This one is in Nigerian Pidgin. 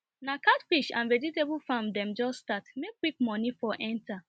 na catfish and vegetable farm dem just start make quick money for enter